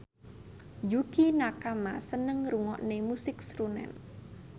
Yukie Nakama seneng ngrungokne musik srunen